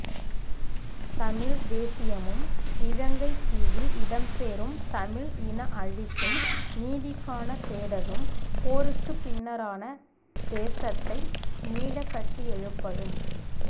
தமிழ்த் தேசியமும் இலங்கைத் தீவில் இடம்பெறும் தமிழ் இனஅழிப்பும் நீதிக்கான தேடலும் போருக்குப் பின்னரான தேசத்தை மீளக்கட்டியெழுப்பலும்